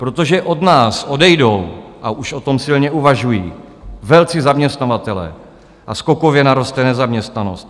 Protože od nás odejdou, a už o tom silně uvažují, velcí zaměstnavatelé a skokově naroste nezaměstnanost.